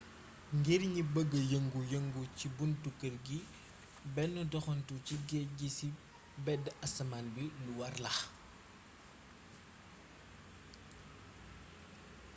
ngir ñi bëgg yengu yengu ci buntu keer gi benn doxantu ci géej gi ci béd asamaan bi lu warla